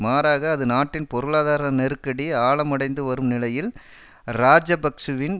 மாறாக அது நாட்டின் பொருளாதார நெருக்கடி ஆழமடைந்து வரும் நிலையில் இராஜபக்ஷவின்